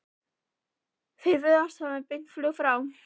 Þeir virðast vera með beint flug frá